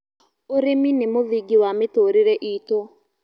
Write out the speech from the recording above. Ũrĩmĩ nĩ mũthĩngĩ wa mĩtũrĩre ĩtũ